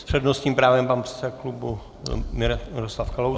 S přednostním právem pan předseda klubu Miroslav Kalousek.